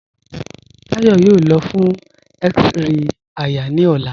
Táyọ̀ yóò lọ̀ fún x-ray àyà ni ọlá.